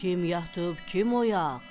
Kim yatıb, kim oyaq?